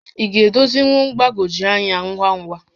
Ị ga-edozinwu mgbagwoju ányá ngwa ngwa?